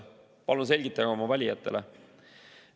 Palun selgitage oma valijatele.